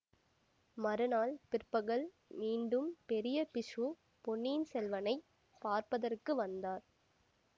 மறுநாள் பிற்பகல் மீண்டும் பெரிய பிக்ஷு பொன்னியின் செல்வனைப் பார்ப்பதற்கு வந்தார்